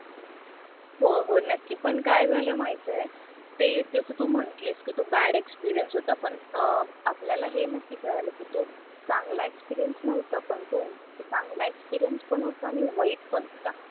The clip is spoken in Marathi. हो हो नक्की पण काय झालं माहितय ते जस तू म्हणटलीस कि तू बॅड एक्सपिरियन्स होता पण अं आपल्याला हे नक्की कळाला कि तो चांगला एक्सपिरियन्स नव्हता पण तो चांगला एक्सपीरियन्स पण होता आणि वाईट पण होता